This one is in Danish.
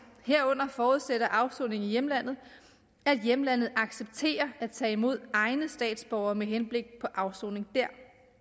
herunder forudsætter afsoning i hjemlandet at hjemlandet accepterer at tage imod egne statsborgere med henblik på afsoning der